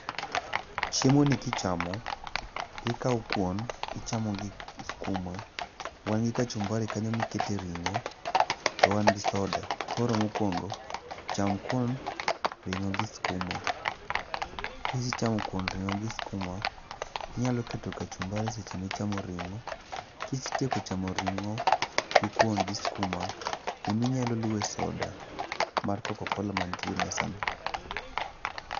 Chiemoni kichamo, ikawo kuon, ichamo gi skuma. Wan gi kachumbari kanyo mikete ring'o, to wan gi soda. Koro mokwongo, cham kuon, ring'o gi skuma, kisechamo kuon, ring'o gi skuma, inyalo keto kachumbari seche michamo ring'o, kisetieko chamo ring'o gi kuon gi skuma, inyalo luowe soda mar kokokola mantie mesano.